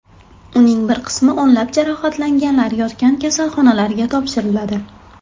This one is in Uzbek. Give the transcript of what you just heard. Uning bir qismi o‘nlab jarohatlanganlar yotgan kasalxonalarga topshiriladi.